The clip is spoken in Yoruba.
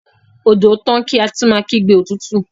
odò tán ká tún máa kígbe òtútù